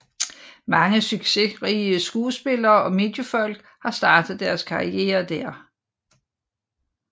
Mange succesrige skuespillere og mediefolk har startet deres karriere der